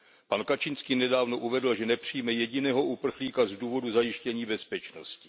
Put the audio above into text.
Pan Kaczynski nedávno uvedl, že nepřijme jediného uprchlíka z důvodu zajištění bezpečnosti.